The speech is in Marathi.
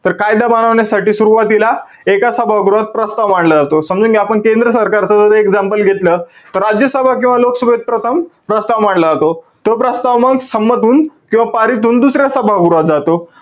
तर कायदा बनवण्यासाठी सुरवातीला एका सभागृहात प्रस्ताव मांडला जातो. समजून घ्या, आपण केंद्र सरकारचं जर example घेतलं. तर राज्यसभा किंवा लोकसभेत प्रथम प्रस्ताव मांडला जातो. तो प्रस्ताव मग संमत होऊन किंवा पारित होऊन दुसऱ्या सभागृहात जातो.